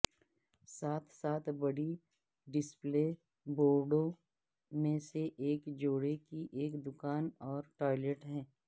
ساتھ ساتھ بڑی ڈسپلے بورڈوں میں سے ایک جوڑے کی ایک دکان اور ٹوائلٹ ہے